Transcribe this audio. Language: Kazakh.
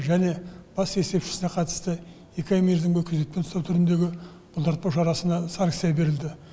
және бас есепшісіне қатысты екі ай мерзімге күдікпен ұстау түріндегі бұлтартпау шарасына санкция берілді